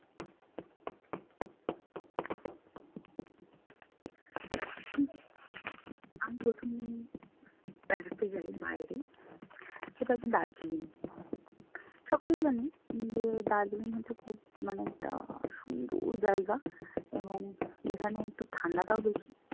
আমি প্রথম বেড়াতে যাই বাইরে সেটা হচ্ছে দার্জিলিং। সকলেই জানেন যে দার্জিলিং হচ্ছে খুব মানে একটা সুন্দর জায়গা এবং যেখানে একটু ঠান্ডাটাও বেশি।